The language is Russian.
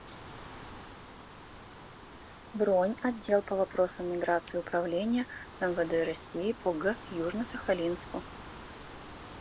бронь отдел по вопросам миграции управления мвд россии по г южно сахалинску